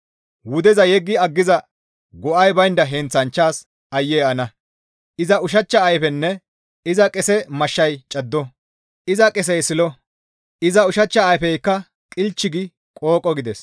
Wudeza yeggi aggiza go7ay baynda heenththanchchas aayye ana! «Iza ushachcha ayfenne iza qese mashshay caddo; iza qesey silo; iza ushachcha ayfeykka qilch gi qooqo» gides.